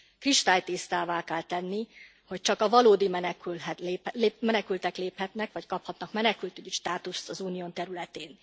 Kristálytisztává kell tenni, hogy csak a valódi menekültek léphetnek, vagy kaphatnak menekültügyi státuszt az Unió területén.